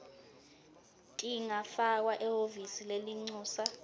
tingafakwa ehhovisi lelincusa